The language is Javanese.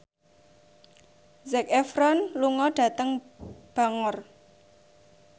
Zac Efron lunga dhateng Bangor